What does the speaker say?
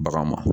Bagan ma